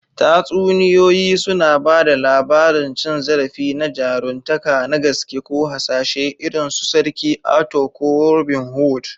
Tatsuniyoyi suna ba da labarin cin zarafi na jaruntaka na gaske ko hasashe irin su Sarki Arthur ko Robin Hood.